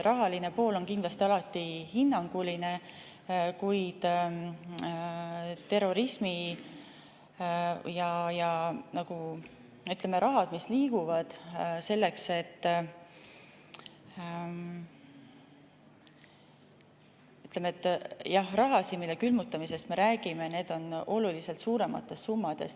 Rahaline pool on kindlasti alati hinnanguline, kuid, ütleme, raha, mille külmutamisest me räägime, on oluliselt suuremates summades.